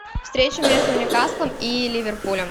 встреча между ньюкаслом и ливерпулем